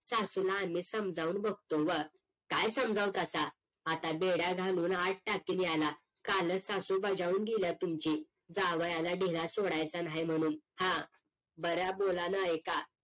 सासूलापण आम्ही समजावून न बघतो व काय समजावता आता आता बेड्या घालून आत टाकेल याला कालच सासू बज्यावून गेल्या तुमची जावायाला ढिला सोडायचा नाही म्हणून हां बरं बोल्यान एका